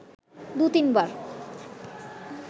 দু তিনবার